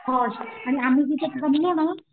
horse आणि आम्ही जिथे थांबलो ना